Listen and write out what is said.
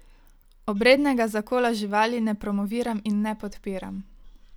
Obrednega zakola živali ne promoviram in ne podpiram.